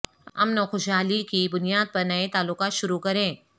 امن و خوشحالی کی بنیادپر نئے تعلقات شروع کریں